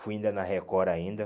Fui ainda na Record ainda.